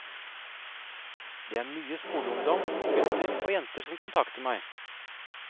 Det er mye skoleungdom, gutter og jenter, som kontakter meg.